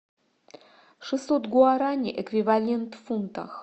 шестьсот гуарани эквивалент в фунтах